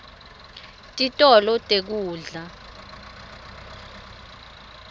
titolo tekudla